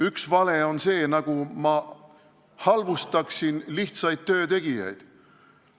Üks vale on see, nagu ma halvustaksin lihtsaid töötegijad.